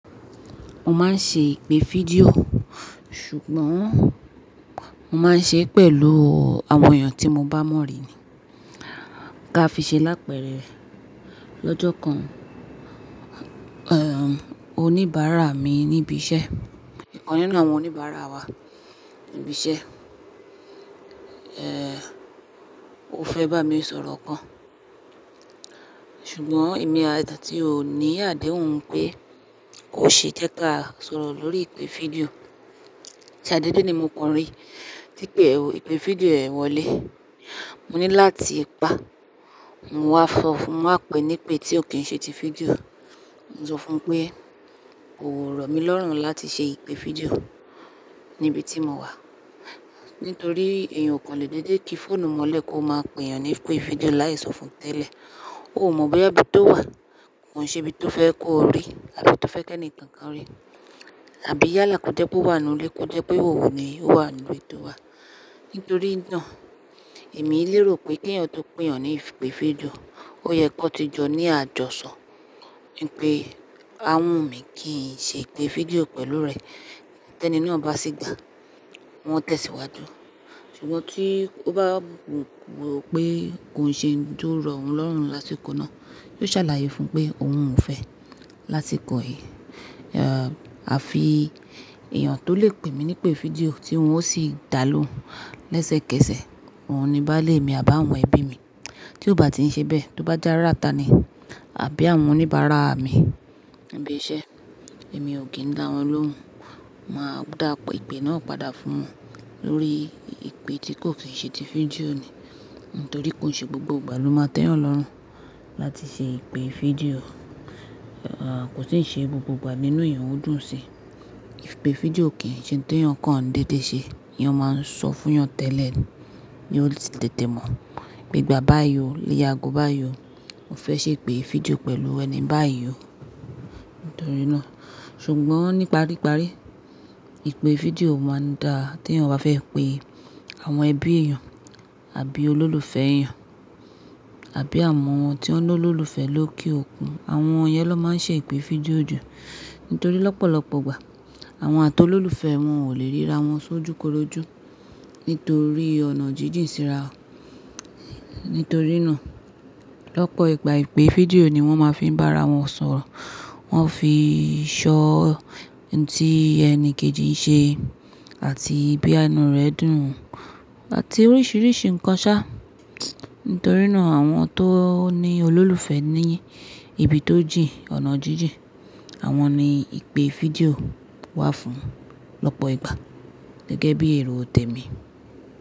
Mo máa ń ṣe ìpè fídíò, ṣùgbọ́n mo máa ń ṣe é pẹ̀lú àwọn èèyàn tí mo bá mọ̀rí ni. Ka fi ṣe lápẹ́rẹ́ lọ́jọ́ kan, oníbàárà mi níbi iṣẹ́, ikan nínú àwọn oníbàárà wa níbi iṣẹ́, ó fẹ́ bá mi sọ̀rọ̀ kan, ṣùgbọ́n èmi a tí ò ní àdéhùn pé kó ṣe jẹ́kà sọ̀rọ̀ lórí ìpè fídíò. Ṣàdédé ní mo kan rí tí pé ìpè fídíò rẹ̀ wọlé. Mo ní láti pa, mo wá sọfu, mo wá pè ní pé tí ò kí n ṣe ti fídíò. Mo sọ fún un pé, kò rọ̀ mí lọ́rùn láti ṣe ìpè fídíò níbi tí mo wà. Nítorí èèyàn kò lè dédé kí fóònù mọ́lẹ̀ kó máa pè èèyàn ní ìpè fídíò láì sọ fún tẹ́lẹ̀. Ó ò mọ̀ boya ibi tó wà kò ṣe ibi tó fẹ́ kó rí àbí tó fẹ́ kí ẹni kankan rí. Àbí yálà kò jẹ́ pé ó wà nínú ilé kó jẹ́ pé ìhòòhò ni ó wà nínú ilé tó wà. Nítorí náà èmi lérò pé kí èèyàn tó pé èèyàn ní ìpè fídíò, ó yẹ kan ti jọ ní àjọ̀ṣọ̀ wípé a wù mí kí n ṣe ìpè fídíò pẹ̀lú rẹ. Tẹ́ni na à bá sì gbàá, wọn tẹ̀síwájú. Ṣùgbọ́n tí ó bá wò pé kò ń ṣe oun to rọ ohun lọ́rùn lásikó náà, yóò ṣàlàyé fún un pé òun ò fẹ́ lásikó yi. À fi èèyàn tó lè pè mí ní ìpè fídíò tí wọn ó sì dá lóhùn lẹ́sẹ̀kẹsẹ̀, òun ni báálé mi àbí àwọn ẹbí mi. Tí ò bá ti ń ṣe bẹ́ẹ̀, tó bá já rata ni, àbí àwọn oníbàárà mi níbi iṣẹ́, èmi ò kí ń dá wọn lóhùn. Máa dá pe ìpè náà padà fún wọn lórí ìpè tí kò kí n ṣe ti fídíò ni. Nítorí kò ṣe gbogbo ìgbà ló máa tẹ́yàn lọ́rùn láti ṣe ìpè fídíò. Kò sì ń ṣe gbogbo ìgbà nínú èèyàn ó dùn sí i. Ìpè fídíò kì í ṣe ohun tó èèyàn kan n dédé ṣe. Èèyàn máa ń sọ fún èèyàn tẹ́lẹ̀ ni, yóò sì tètè mọ̀. Pé gbà báyìí o, ni ye ago báyìí o, mo fẹ́ ṣe ìpè fídíò pẹ̀lú ẹ ní báyìí o. Nítorí náà, ṣùgbọ́n níparíparí ìpè fídíò máa ń dáa tí èèyàn bá fẹ́ pe àwọn ẹbí èèyàn àbí olólùfẹ́ èèyàn àbí àwọn tí wọ́n lolólùfẹ́ lókè òkun. Àwọn yẹn ló máa ń ṣe ìpè fídíò jù. Nítorí lọ́pọ̀lọpọ̀ ìgbà àwọn atolólùfẹ́ wọn ò lè ríra wọn sójúkorojú nítorí ọ̀nà jíjìn síra. Nítorí náà lọ́pọ̀ ìgbà ìpè fídíò ni wọ́n máa fi ń bá ara wọn sọ̀rọ̀. Wọ́n ó fi í ṣọ́ n tí ẹni kejì ń ṣe àti boya inú rẹ̀ dùn àti oríṣiríṣi nǹkan ṣá. Nítorí náà àwọn tó ní olólùfẹ́ ní ibi tó jì ọ̀nà jíjìn, àwọn ni ìpè fídíò wà fún lọ́pọ̀ ìgbà gẹ́gẹ́ bí èrò òtẹ̀mi.